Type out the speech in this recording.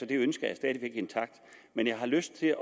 det ønske er stadig intakt men jeg har lyst til